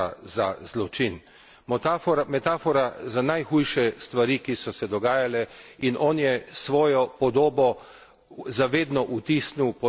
Metafora za najhujše stvari, ki so se dogajale, in on je svojo podobo za vedno vtisnil pod strahote Vukovarja.